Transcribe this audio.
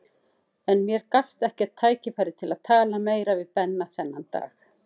En mér gafst ekkert tækifæri til að tala meira við Benna þennan dag.